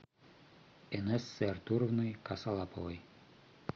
инессы артуровны косолаповой